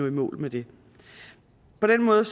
i mål med det på den måde